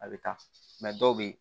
A bɛ taa dɔw bɛ yen